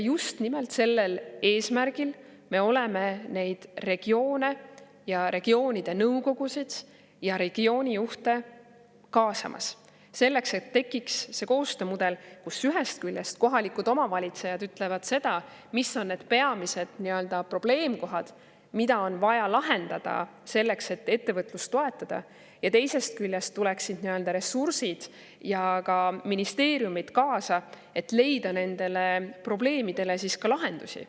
Just nimelt sellel eesmärgil me oleme neid regioone ja regioonide nõukogusid ja regioonijuhte kaasamas, selleks et tekiks see koostöömudel, kus ühest küljest kohalikud omavalitsused ütlevad seda, mis on need peamised probleemkohad, mida on vaja lahendada, selleks et ettevõtlust toetada, ja teisest küljest tuleksid ressursid ja ka ministeeriumid kaasa, et leida nendele probleemidele lahendusi.